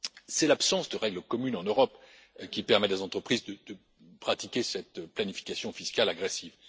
C'est l'absence de règles communes en Europe qui permet à des entreprises de pratiquer cette planification fiscale agressive.